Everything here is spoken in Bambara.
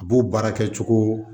A b'o baara kɛ cogo